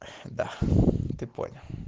да ты понял